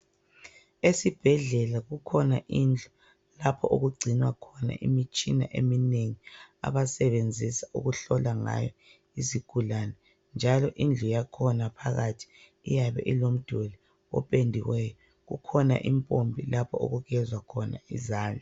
Esibhedlela kukhona indlu lapho okugcinwa khona imitshina eminengi abayisebenzisa ukuhlola izigulane. Indlu yakhona iyabe ilomduli opendiweyo njalo ikhona impompi okugezwa khona izandla.